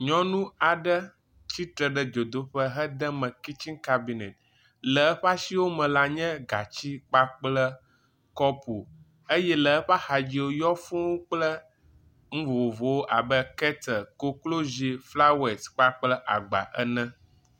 Nyɔnu aɖe tsitre ɖe dzodoƒe hede me kitsiŋ kabineti, le eƒe asiwo me la nye gati kpakple kɔpu eye le eƒe axadzi yɔ fũu kple nu vovovowo abe ketle, koklozi kpakple agba ene.